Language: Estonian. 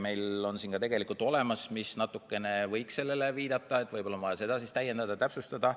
Meil on siin tegelikult ka midagi, mis natukene võiks sellele viidata, aga võib-olla on vaja seda täiendada ja täpsustada.